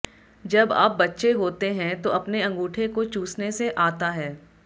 जब आप बच्चे होते हैं तो अपने अंगूठे को चूसने से आता है